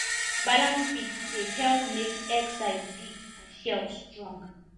balanced feed dey help make egg size big and shell strong